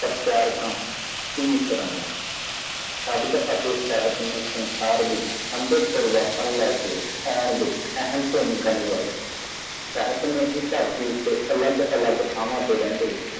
ਪ੍ਰਚਾਰਕ ਬਿਸਰਾ ਦੁਆਰਾ ਸੰਸਾਰ ਵਿੱਚ ਸ਼ਬਦ ਅਤੇ ਸਿਹਤ ਸੰਭਾਵੀ ਤਬਦੀਲੀ ਲਿਆਉਣ ਵਿੱਚ ਮੁੱਖ ਭੂਮਿਕਾ ਨਿਭਾਈ ਸਿਹਤ ਹੀ ਧਰਤੀ ਤੇ ਵੱਖ-ਵੱਖ ਥਾਵਾਂ ਤੇ ਰਹਿਣ ਵਾਲੀ ਚੀਜ਼ ਹੈ